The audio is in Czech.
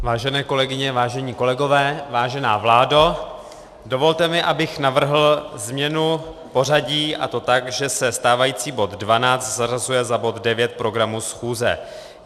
Vážené kolegyně, vážení kolegové, vážená vládo, dovolte mi, abych navrhl změnu pořadí, a to tak, že se stávající bod 12 zařazuje za bod 9 programu schůze.